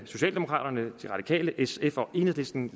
socialdemokraterne de radikale sf og enhedslisten